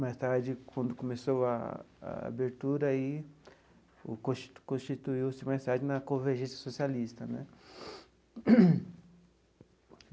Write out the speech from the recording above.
Mais tarde, quando começou a a abertura aí, o consti constituiu-se mais tarde na Convergência Socialista né.